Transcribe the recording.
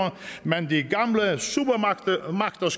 men de